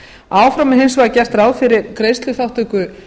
áfram er hins vegar gert ráð fyrir greiðsluþátttöku